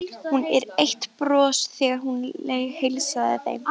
Hún er eitt bros þegar hún heilsar þeim.